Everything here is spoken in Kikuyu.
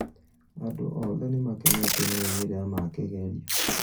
Andũothe nĩmakenetio nĩ moimĩrĩro ma kĩgerio